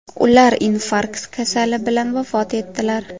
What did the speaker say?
Ular infarkt kasali bilan vafot etdilar.